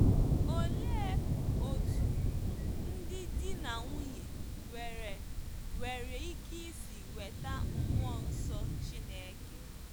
Olee otú ndị di na nwunye nwere nwere ike isi nweta mmụọ nsọ Chineke?